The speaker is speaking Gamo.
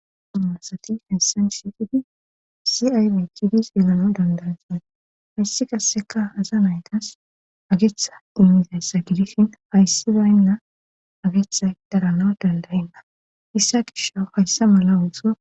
Masati hessan shiqidi si ay miickhidis yelano dandansan hayssi qasseka aza naytas ageetha dimmizassa gidishin hayssi baynna ageetha darana dandayenna issa gisho hayssa mala uxo